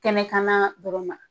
Kɛnɛ kan na dɔrɔn ma.